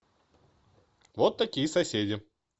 вот такие соседи